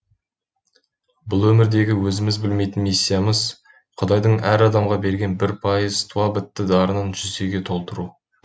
бұл өмірдегі өзіміз білмейтін миссиямыз құдайдың әр адамға берген бір пайыз туа бітті дарынын жүзге толтыру